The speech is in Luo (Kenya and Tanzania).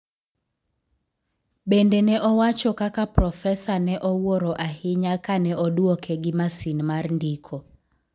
Bende ne owacho kaka profesa ne owuoro ahinya kane oduoke gi masin mar ndiko.